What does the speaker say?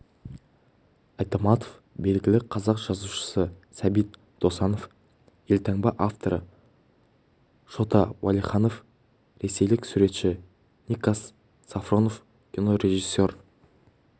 айтматов белгілі қазақ жазушысы сәбит досанов елтаңба авторы шота уәлиханов ресейлік суретші никас сафронов кинорежиссер